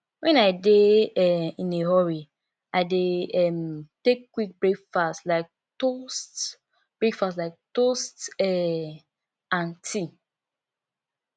when i dey um in a hurry i dey um take quick breakfast like toast breakfast like toast um and tea